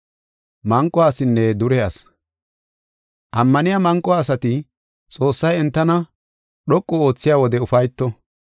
Ammaniya manqo asati, Xoossay entana dhoqu oothiya wode ufayto.